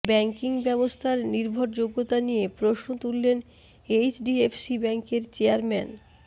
banking ব্যবস্থার নির্ভরযোগ্যতা নিয়ে প্রশ্ন তুললেন এইচডিএফসি ব্যাঙ্কের চেয়ারম্যান